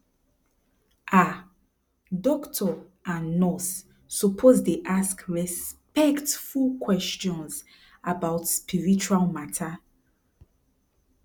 ah doctor and nurse suppose dey ask respectful questions about spiritual mata